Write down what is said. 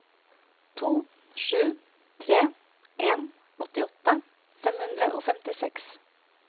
to sju tre en åttiåtte fem hundre og femtiseks